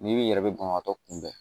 N'i b'i yɛrɛ bɛ banabaatɔ kunbɛn